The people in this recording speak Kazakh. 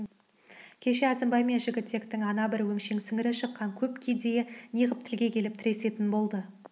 кеше әзімбай мен жігітектің ана бір өңшең сіңірі шыққан көп кедейі неғып тілге келіп тіресетін болды